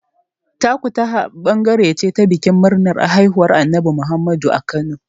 Takutaha ɓangare ce ta bikin murnar haihuwar Annabi Muhammadu a Kano.